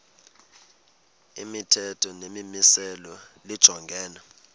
imithetho nemimiselo lijongene